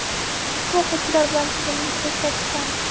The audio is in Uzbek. Ushbu o‘quvchilar bilan tizimli ishlash ta’kidlandi.